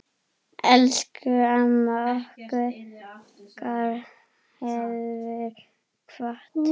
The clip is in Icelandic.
Elsku amma okkar hefur kvatt.